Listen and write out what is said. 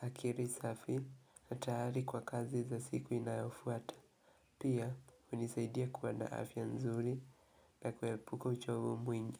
akiri safi, na tayari kwa kazi za siku inayofuata. Pia, hunisaidia kuwa na afya nzuli na kuepuka uchovu mwingi.